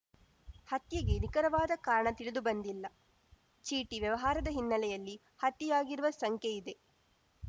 ಹತ್ಯೆಗೆ ನಿಕರವಾದ ಕಾರಣ ತಿಳಿದುಬಂದಿಲ್ಲ ಚೀಟಿ ವ್ಯವಹಾರದ ಹಿನ್ನೆಲೆಯಲ್ಲಿ ಹತ್ಯೆಯಾಗಿರುವ ಶಂಕೆಯಿದೆ